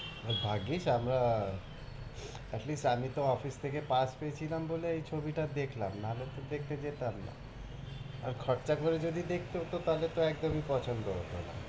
আর ভাগ্যিস আমরা at least তো office থেকে pass পেয়েছিলাম বলে এই ছবিটা দেখলাম না হলে তো দেখতে যেতাম না আর খরচা করে যদি দেখতে হতো তা হলে তো একদমই পছন্দ হতো না।